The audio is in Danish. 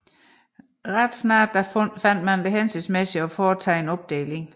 Ret snart fandt man det hensigtsmæssigt at foretage en opdeling